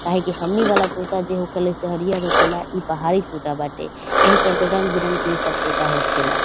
काहे के हमनी वाला तोता जे होखेला से हरिया होखेला ई पहाड़ी तोता बाटे ऐहे चलते रंग-बिरंग के ई सब तोता होखेला।